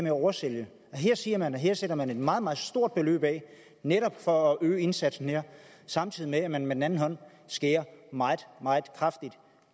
at oversælge at her siger man at her sætter man et meget meget stort beløb af netop for at øge indsatsen samtidig med at man med den anden hånd skærer meget meget kraftigt